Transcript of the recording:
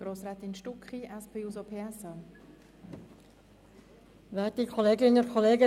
Grossrätin Stucki hat das Wort für die SPJUSO-PSA-Fraktion.